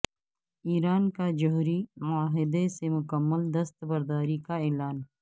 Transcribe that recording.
ایران کا جوہری معاہدے سے مکمل دستبرداری کا اعلان